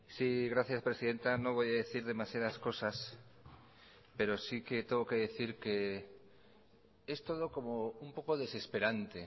sí gracias presidenta no voy a decir demasiadas cosas pero sí que tengo que decir que es todo como un poco desesperante